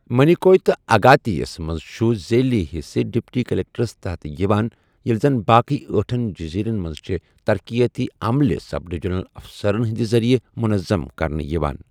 مِنیکوے تہٕ اگاتی یس منٛز چُھ ذیلی حِصہٕ ڈپٹی کلکٹرس تحت یِوان ییٚلہِ زن باقٕے ٲٹھن جٔزیٖرن منٛز چھےٚ ترقِیٲتی عملہٕ سب ڈِویژنل افسرن ہِنٛدِ ذریعہ منظم کرنہٕ یِوان۔